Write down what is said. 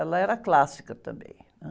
Ela era clássica também, ãh...